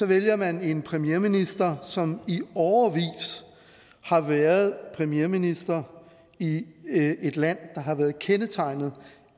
vælger man en premierminister som i årevis har været premierminister i et land der har været kendetegnet